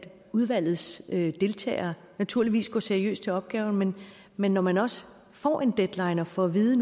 udvalgets deltagere naturligvis går seriøst til opgaven men men når man også får en deadline og får at vide